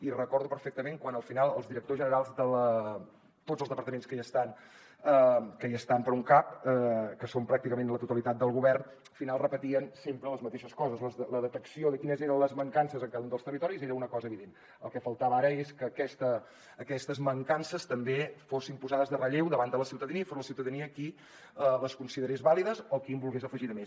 i recordo perfectament quan al final els directors generals de tots els departaments que hi estan que són pràcticament la totalitat del govern repetien sempre les mateixes coses la detecció de quines eren les mancances en cada un dels territoris era una cosa evident el que faltava ara és que aquestes mancances també fossin posades en relleu davant de la ciutadania i que fos la ciutadania qui les considerés vàlides o qui en volgués afegir de més